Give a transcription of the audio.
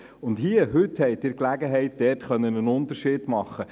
Heute haben Sie die Gelegenheit, dort einen Unterschied zu machen.